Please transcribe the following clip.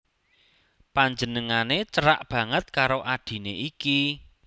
Panjenengané cerak banget karo adhiné iki